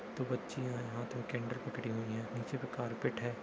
दो बच्चियाँ हैं हाथ में कैंडल पकड़ी हुई हैं नीचे में कारपेट है।